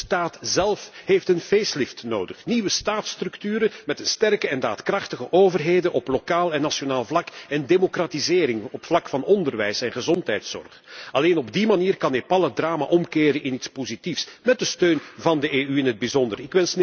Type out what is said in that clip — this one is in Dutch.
En ook de staat zelf heeft een facelift nodig nieuwe staatsstructuren met sterke en daadkrachtige overheden op lokaal en nationaal vlak en democratisering op het vlak van onderwijs en gezondheidszorg. Alleen op die manier kan Nepal het drama omkeren in iets positiefs, met de steun van de EU in het bijzonder.